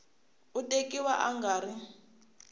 u tekiwa a nga ri